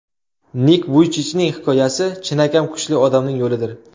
Nik Vuychichning hikoyasi chinakam kuchli odamning yo‘lidir.